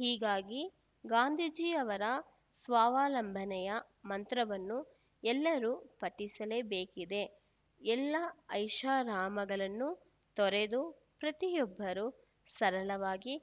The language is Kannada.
ಹೀಗಾಗಿ ಗಾಂಧೀಜಿಯವರ ಸ್ವಾವಲಂಬನೆಯ ಮಂತ್ರವನ್ನು ಎಲ್ಲರೂ ಪಠಿಸಲೇಬೇಕಿದೆ ಎಲ್ಲಾ ಐಷಾರಾಮಗಳನ್ನೂ ತೊರೆದು ಪ್ರತಿಯೊಬ್ಬರೂ ಸರಳವಾಗಿ